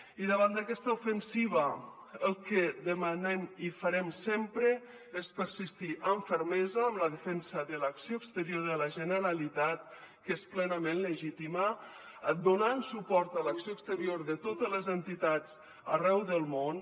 i davant d’aquesta ofensiva el que demanem i farem sempre és persistir amb fermesa en la defensa de l’acció exterior de la generalitat que és plenament legítima donant suport a l’acció exterior de totes les entitats arreu del món